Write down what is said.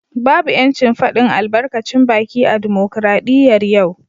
Babu ‘yancin fadin albarkacin baki a dimokradiyyar yau